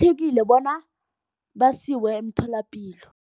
bona basiwe emtholapilo.